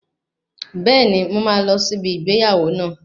Bẹ́ẹ̀ni, mo máa lọ sí ibi ìgbéyàwó náà